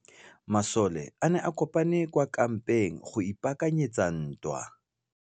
Masole a ne a kopane kwa kampeng go ipaakanyetsa ntwa.